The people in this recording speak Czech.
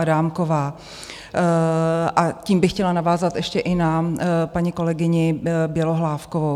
Adámková, a tím bych chtěla navázat ještě i na paní kolegyni Bělohlávkovou.